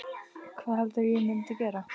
Hvað heldurðu að ég myndi gera?